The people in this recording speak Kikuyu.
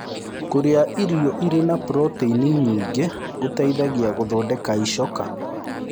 Kũrĩa irio ĩrĩ na proteĩnĩ nyĩngĩ gũteĩthagĩa gũthondeka ĩchoka